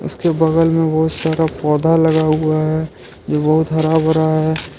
उसके बगल में बहुत सारा पौधा लगा हुआ है जो बहुत हरा भरा है।